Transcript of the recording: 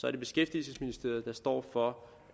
er det beskæftigelsesministeriet der står for